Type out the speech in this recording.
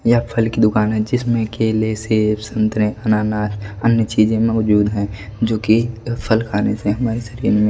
यह फल की दुकान है जिसमें केले सेब संतरे अनानास अन्य चीजें मौजूद हैं जो कि फल खाने से हमारे शरीर --